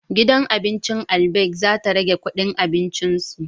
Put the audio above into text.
Gidan abincin Albaik za ta rage kudin abincin su